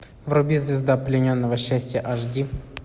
вруби звезда плененного счастья аш ди